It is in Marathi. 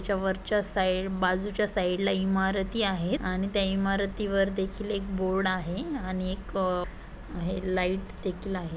च्या वरच्या साइड बाजूच्या साइड ला इमारती आहेत आणि त्या इमारती वर देखील एक बोर्ड आहे आणि एक अह आ हे लाइट देखील आहे.